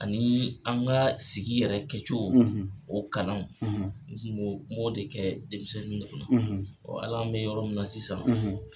A ni an ka sigi yɛrɛ kɛcogo, , o kalanw, , n tun b'o, m'ɔ de kɛ denmisɛnnin kunna, , hali an bɛ yɔrɔ min na sisan,